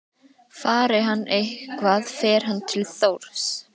Fari hann eitthvað fer hann til Þórs.